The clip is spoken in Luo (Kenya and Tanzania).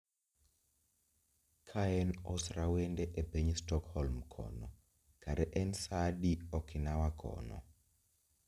Kaen osrawende epiny stockholm kono kara en sa adi okinawa kono